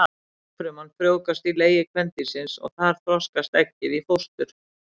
Eggfruman frjóvgast í legi kvendýrsins og þar þroskast eggið í fóstur.